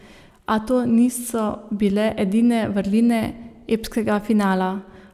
A to niso bile edine vrline epskega finala.